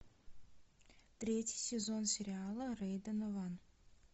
третий сезон сериала рэй донован